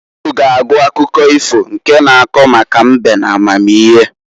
Unu ga agụ akụkọ ifo nke na-ako maka mbe n'amamihe.